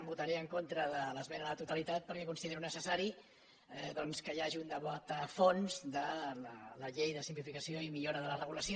voltaré en contra de l’esmena a la totalitat perquè considero necessari doncs que hi hagi un debat a fons de la llei de simplificació i millora de la regulació